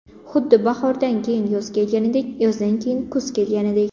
Xuddi bahordan keyin yoz kelganidek, yozdan keyin kuz kelgandek.